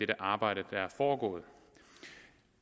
det arbejde der er foregået